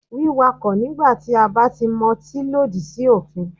Wíkakọ̀ nígbà tí a bá ti motín lòdì sí òfin.